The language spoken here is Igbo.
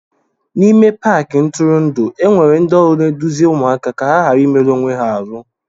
N'ime Paakị ntụrụndụ enwere ndị ọrụ na-eduzi ụmụaka ka ha ghara imerụ onwe ha ahụ